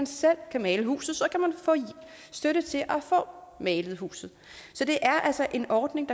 selv kan male huset få støtte til at få malet huset så det er altså en ordning